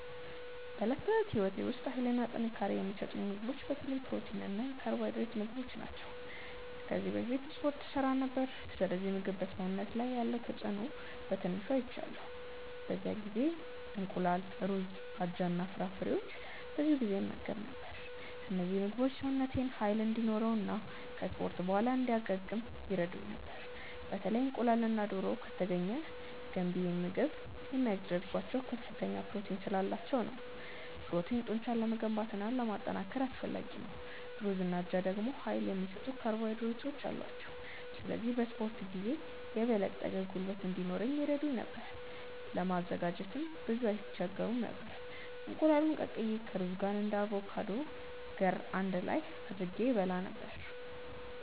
በዕለት ተዕለት ሕይወቴ ውስጥ ኃይልና ጥንካሬ የሚሰጡኝን ምግቦች በተለይ የፕሮቲን እና የካርቦሃይድሬት ምግቦች ናቸው። ከዚህ በፊት እስፖርት እሠራ ነበር፣ ስለዚህ ምግብ በሰውነት ላይ ያለውን ተጽእኖ በትንሹ አይቻለሁ። በዚያ ጊዜ እንቁላል፣ ሩዝ፣ አጃ እና ፍራፍሬዎችን ብዙ ጊዜ እመገብ ነበር። እነዚህ ምግቦች ሰውነቴን ኃይል እንዲኖረው እና ከ እስፖርት በኋላ እንዲያገግም ይረዱኝ ነበር። በተለይ እንቁላልና ዶሮ( ከተገኘ ) ገንቢ የሚያደርጋቸው ከፍተኛ ፕሮቲን ስላላቸው ነው። ፕሮቲን ጡንቻን ለመገንባት እና ለማጠናከር አስፈላጊ ነው። ሩዝና አጃ ደግሞ ኃይል የሚሰጡ ካርቦሃይድሬቶች አሏቸው፣ ስለዚህ በ እስፖርት ጊዜ የበለጠ ጉልበት እንዲኖረኝ ይረዱኝ ነበር። ለማዘጋጀትም ብዙም አይስቸግሩም ነበር፤ እንቁላሉን ቀቅዬ ከሩዝ ጋር እና ከአቮካዶ ገር አንድ ላይ አድርጌ እበላ ነበረ።